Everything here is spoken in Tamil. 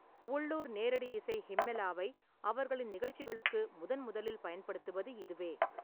உள்ளூர் நேரடி இசை ஹிம்மெலாவை அவர்களின் நிகழ்ச்சிகளுக்கு முதன்முதலில் பயன்படுத்துவது இதுவே.